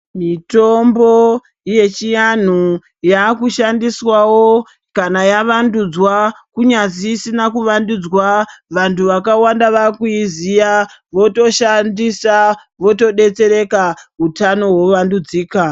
Mitombo yechianhu yaakushandiswawo kana yavandudzwa kunyazi isina kuvandudzwa. Vantu vakawanda vaakuiziya votoshandisa, votodetsereka, hutano hovandudzika.